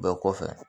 Bɛɛ kɔfɛ